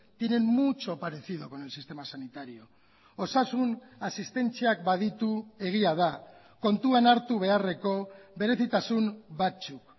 tienen mucho parecido con el sistema sanitario osasun asistentziak baditu egia da kontuan hartu beharreko berezitasun batzuk